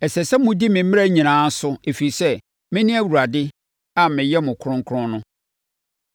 Ɛsɛ sɛ modi me mmara nyinaa so, ɛfiri sɛ, mene Awurade a meyɛ mo kronkron no.